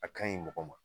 A ka ɲi mɔgɔ ma